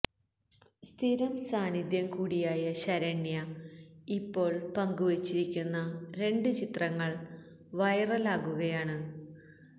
സ്ഥിരം സാന്നിധ്യം കൂടിയായ ശരണ്യ ഇപ്പോള് പങ്കുവെച്ചിരിക്കുന്ന രണ്ട് ചിത്രങ്ങള് വൈറലാകുകയാണ്